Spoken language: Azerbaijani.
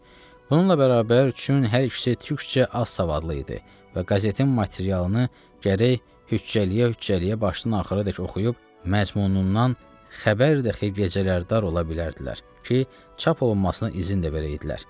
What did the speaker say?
Bununla bərabər üçün hər ikisi türkcə az savadlı idi və qazetin materialını gərək hüccəliyə-hüccəliyə başdan-axıra dək oxuyub məzmunundan xəbərdə xeyir gecələr dar ola bilərdilər ki, çap olunmasına izin də verəydilər.